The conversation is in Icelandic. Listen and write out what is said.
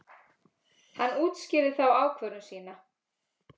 Hann útskýrði þá ákvörðun sína.